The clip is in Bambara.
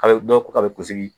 A bɛ dɔ ko k'a bɛ kunsigi